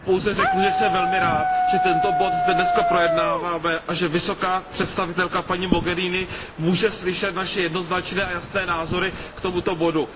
Já pouze řeknu, že jsem velmi rád, že tento bod zde dnes projednáváme a že vysoká představitelka paní Mogheriniová může slyšet naše jednoznačné a jasné názory k tomuto bodu.